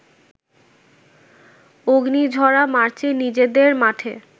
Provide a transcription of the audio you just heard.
অগ্নিঝরা মার্চে নিজেদের মাঠে